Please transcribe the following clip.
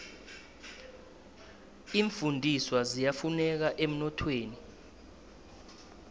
iimfundiswa ziyafuneka emnothweni